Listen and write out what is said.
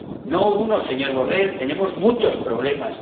No uno, señor Borrell, tenemos muchos problemas.